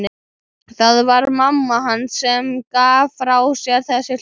Það var mamma hans sem gaf frá sér þessi hljóð.